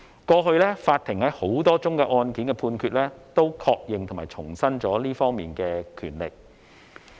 過去法庭在多宗案件的判決均確認和重申這方面的權力。